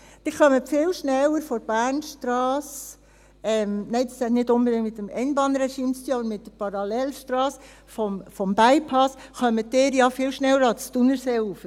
Sie kommen viel schneller von der Bernstrasse – nein, das hat nicht unbedingt mit dem Einbahnregime zu tun, aber mit der Parallelstrasse des Bypasses – ans Thunerseeufer.